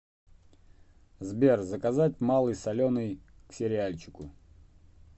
сбер заказать малый соленый к сериальчику